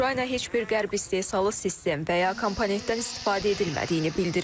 Ukrayna heç bir qərb istehsalı sistem və ya komponentdən istifadə edilmədiyini bildirib.